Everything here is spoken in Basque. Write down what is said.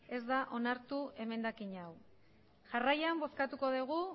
ez da onartu emendakin hau jarraian bozkatuko dugu